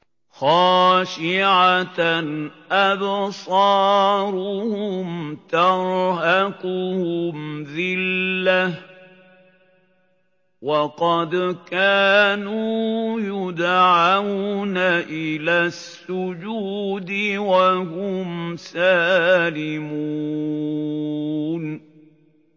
خَاشِعَةً أَبْصَارُهُمْ تَرْهَقُهُمْ ذِلَّةٌ ۖ وَقَدْ كَانُوا يُدْعَوْنَ إِلَى السُّجُودِ وَهُمْ سَالِمُونَ